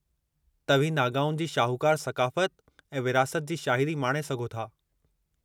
तव्हीं नागाउनि जी शाहूकारु सक़ाफ़त ऐं विरासत जी शाहिदी माणे सघो था।